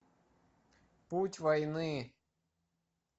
путь войны